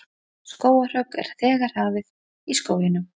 Skógarhögg er þegar hafið í skóginum